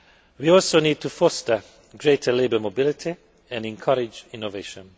We also need to foster greater labour mobility and encourage innovation.